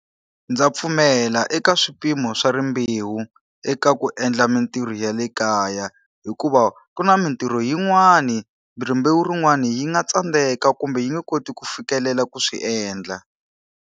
Ndza pfumela eka swiphemu swa rimbewu eka ku endla mintirho ya le kaya. Hikuva ku na mintirho yin'wani hi rimbewu rin'wana yi nga tsandzeka kumbe yi nge koti ku fikelela ku swi endla.